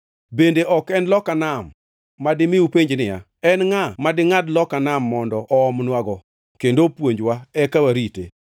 Bende ok en loka nam, madimi upenj niya, “En ngʼa madingʼad loka nam mondo oomnwago kendo opuonjwa eka warite?”